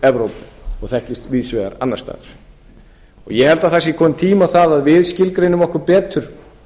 evrópu og þekkist víðs vegar annars staðar ég held að tími sé kominn á það við skilgreinum okkur betur